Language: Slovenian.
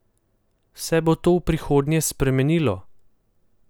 Se bo to v prihodnje spremenilo?